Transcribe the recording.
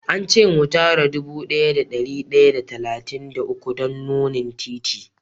An ce me tara dude daya da dari daya da talatin da uku don nunni titi.